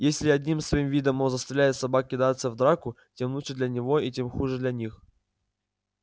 если одним своим видом он заставляет собак кидаться в драку тем лучше для него и тем хуже для них